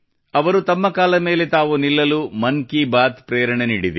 ಅವರು ತಮ್ಮ ಕಾಲ ಮೇಲೆ ತಾವು ನಿಲ್ಲಲು ಮನ್ ಕಿ ಬಾತ್ ಪ್ರೇರಣೆ ನೀಡಿದೆ